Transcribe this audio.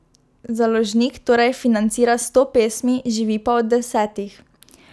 Založnik torej financira sto pesmi, živi pa od desetih.